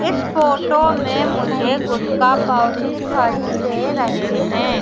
इस फोटो में मुझे गुटका पाउच दिखाई दे रहे हैं।